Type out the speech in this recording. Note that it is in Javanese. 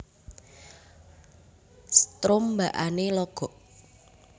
Strombakane logok